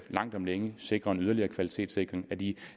langt om længe sikrer en yderligere kvalitetssikring af de